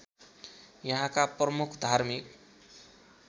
यहाँका प्रमुख धार्मिक